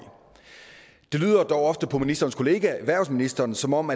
det lyder dog ofte på ministerens kollega erhvervsministeren som om